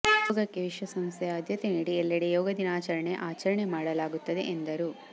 ಯೋಗಕ್ಕೆ ವಿಶ್ವ ಸಂಸ್ಥೆ ಆದ್ಯತೆ ನೀಡಿ ಎಲ್ಲೆಡೆ ಯೋಗ ದಿನಾಚಾರಣೆ ಆಚರಣೆ ಮಾಡಾಗುತ್ತಿದೆ ಎಂದರು